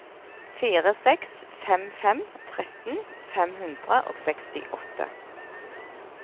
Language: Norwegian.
fire seks fem fem tretten fem hundre og sekstiåtte